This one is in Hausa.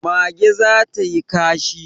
Mage za ta yi kashi